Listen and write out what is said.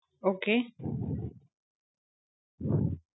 Okay.